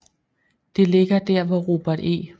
Det ligger der hvor Robert E